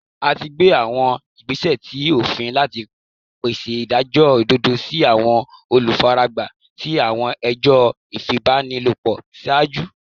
A ti gbe awọn igbesẹ ti ofin lati pese idajọ ododo si awọn olufaragba ti awọn ẹjọ ifipabanilopo iṣaaju